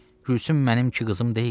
Gülsüm mənimki qızım deyil.